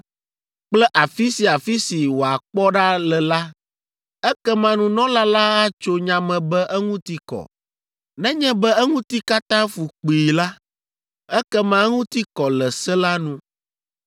kple afi sia afi si wòakpɔ ɖa le la, ekema nunɔla la atso nya me be eŋuti kɔ, nenye be eŋuti katã fu kpii la, ekema eŋuti kɔ le se la nu.